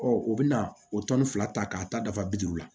u bɛna o fila ta k'a ta dafa bi duuru la